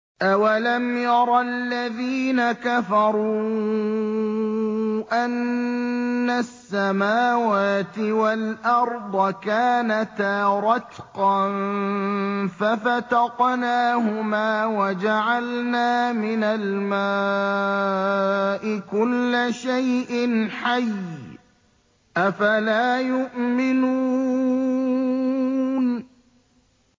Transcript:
أَوَلَمْ يَرَ الَّذِينَ كَفَرُوا أَنَّ السَّمَاوَاتِ وَالْأَرْضَ كَانَتَا رَتْقًا فَفَتَقْنَاهُمَا ۖ وَجَعَلْنَا مِنَ الْمَاءِ كُلَّ شَيْءٍ حَيٍّ ۖ أَفَلَا يُؤْمِنُونَ